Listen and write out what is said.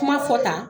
Kuma fɔ tan